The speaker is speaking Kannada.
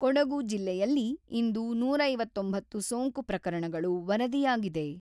ಕೊಡಗು ಜಿಲ್ಲೆಯಲ್ಲಿ ಇಂದು ನೂರ ಐವತ್ತೊಂಬತ್ತು ಸೋಂಕು ಪ್ರಕರಣಗಳು ವರದಿಯಾಗಿದೆ.